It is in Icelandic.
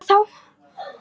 Hvað þá!